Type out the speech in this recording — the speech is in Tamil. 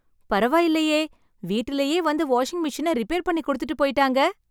பரவாயில்லையே. வீட்டிலேயே வந்து வாஷிங்மெஷினை ரிப்பேர் பண்ணி கொடுத்துட்டு போயிட்டாங்க.